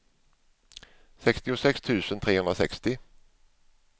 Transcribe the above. sextiosex tusen trehundrasextio